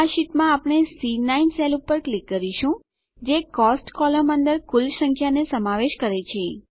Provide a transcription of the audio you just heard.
આ શીટમાં આપણે સી9 સેલ પર ક્લિક કરીશું જે કોસ્ટ્સ કોલમ અંદર કુલ સંખ્યાને સમાવેશ કરે છે